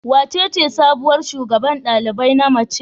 Wacece sabuwar shugaban ɗalibai na mace?